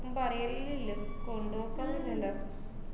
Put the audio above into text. ന്നും പറയലില്ല കൊണ്ടുപോക്കൊന്നൂല്ലല്ലൊ.